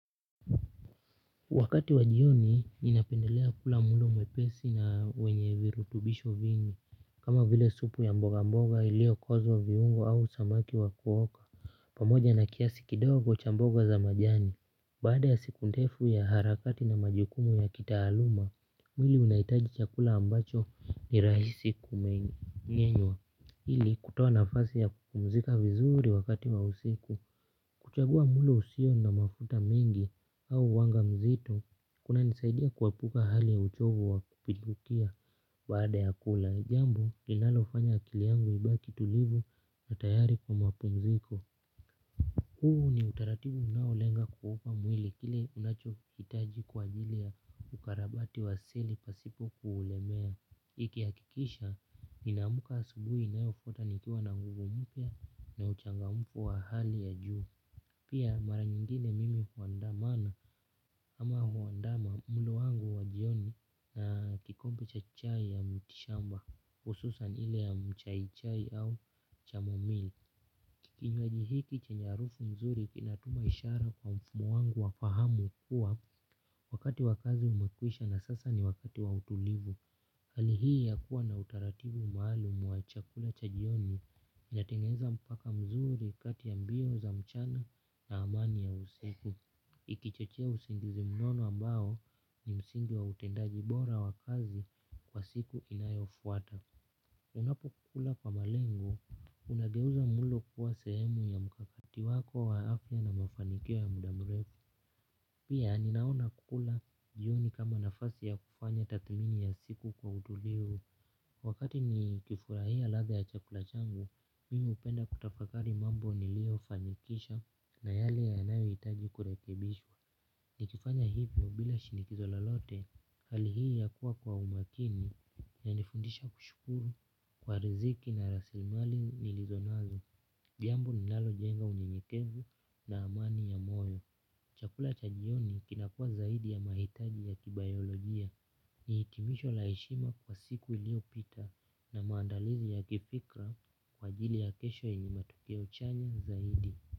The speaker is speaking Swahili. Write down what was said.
Wakati wa jioni ninapendelea kula mulo mwepesi na wenye virutubisho vingi. Kama vile supu ya mboga mboga ilio kozo viungo au samaki wakuoka pamoja na kiasi kidogo cha mboga za majani baada ya siku ndefu ya harakati na majukumu ya kitaaluma mwili unaitaji chakula ambacho ni rahisi kumengenya ili kutoa nafasi ya kupumzika vizuri wakati wa usiku. Kuchagua mulo usio na mafuta mingi au wanga mzito, kuna nisaidia kuapuka hali ya uchovu wa kupidukia baada ya kula. Jambi, linalofanya akiliangu ibaki tulivu na tayari kwa mapumziko. Huu ni utaratibu unaolenga kuuupa mwili kile unacho itaji kwa ajili ya ukarabati waseli pasipo kuulemea. Ikihakikisha, inamuka asubui inayofuata nikua na nguvu mpya na uchangamfu wa hali ya juu. Pia maran yingine mimi huandamana ama huandama mulo wangu wa jioni na kikombe cha chai ya mti shamba hususan ile ya mchaichai au chamomili. Kikinywaji hiki chenye arufu nzuri kinatuma ishara kwa mfumu wangu wafahamu kuwa wakati wa kazi umekwisha na sasa ni wakati wa utulivu. Hali hii ya kuwa na utaratibu maalumu wa chakula cha jioni inatingeza mpaka mzuri kati ya mbio za mchana na amani ya usiku. Ikichochea usingizi mnono ambao ni msingi wa utendaji bora wa kazi kwa siku inayofuata. Unapo kukula kwa malengo, unageuza mulo kuwa sehemu ya mkakati wako waafia na mafanikio ya muda mrefu. Pia, ninaona kukula jioni kama nafasi ya kufanya tathmini ya siku kwa utulivu. Wakati ni kifurahia latha ya chakula changu, mimi upenda kutafakari mambo nilio fanikisha na yale yanayo itaji kurekebishwa. Nikifanya hivyo bila shinikizo lolote, hali hii ya kuwa kwa umakini yanifundisha kushukuru kwa riziki na rasimali nilizonazo jambo linalojenga unyenyekevu na amani ya moyo. Chakula cha jioni kinakuwa zaidi ya mahitaji ya kibayolojia ni hitimisho la heshima kwa siku ilio pita na maandalizi ya kifikra kwa ajili ya kesho yenye matukio chanya zaidi.